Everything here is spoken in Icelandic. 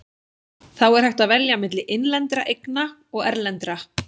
Þá er hægt að velja milli innlendra eigna og erlendra.